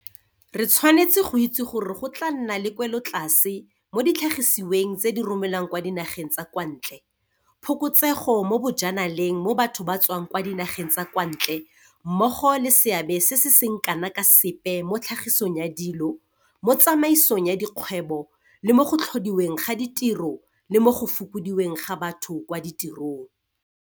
Re tshwanetse go itse gore go tla nna le kwelotlase mo ditlhagisiweng tse di romelwang kwa dinageng tsa kwa ntle, phokotsego mo bojanaleng mo batho ba tswang kwa dinageng tsa kwa ntle mmogo le seabe se se seng kana ka sepe mo tlhagisong ya dilo, mo tsamaisong ya dikgwebo le mo go tlhodiweng ga ditiro le mo go fokodiweng ga batho kwa ditirong.